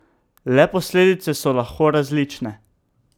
Le posledice so lahko različne.